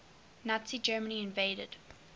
nazi germany invaded